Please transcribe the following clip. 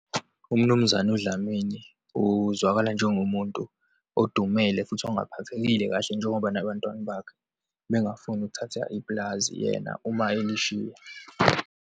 UMnumzane uDlamini uzwakala njengomuntu odumele futhi ongaphathekile kahle, njengoba nabantwana bakhe bengafuni ukuthatha ipulazi, yena uma elishiya.